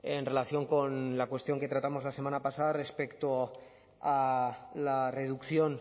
en relación con la cuestión que tratamos la semana pasada respecto a la reducción